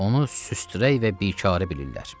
Onu süstərək və bikarə bilirlər.